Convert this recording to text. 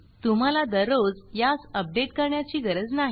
तुम्हाला दररोज यास अपडेट करण्याची गरज नाही